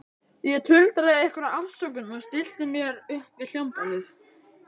Ég tuldraði einhverja afsökun og stillti mér upp við hljómborðið.